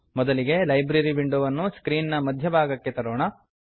ಮೊದಲಿಗೆ library window ವನ್ನು screen ನ ಮಧ್ಯ ಭಾಗಕ್ಕೆ ತರೋಣ